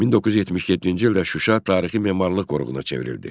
1977-ci ildə Şuşa tarixi-memarlıq qoruğuna çevrildi.